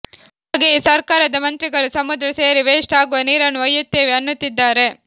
ಹಾಗೆಯೇ ಸರ್ಕಾರದ ಮಂತ್ರಿಗಳು ಸಮುದ್ರ ಸೇರಿ ವೇಸ್ಟ್ ಆಗುವ ನೀರನ್ನು ಒಯ್ಯುತ್ತೇವೆ ಅನ್ನುತ್ತಿದ್ದಾರೆ